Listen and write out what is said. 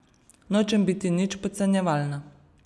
Nočem biti nič podcenjevalna.